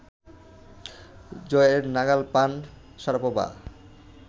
জয়ের নাগাল পান শারাপোভা